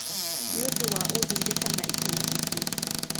Nĩũndũ wa ũndũire kana itũmi ingĩ